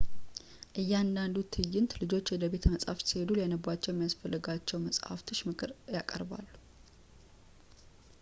እያንዳንዱ ትዕይንት ልጆች ወደ ቤተ መጽሀፍት ሲሄዱ ሊያነቧቸው የሚያስፈልጋቸው ለመጽሀፍቶች ምክርን ያቀርባል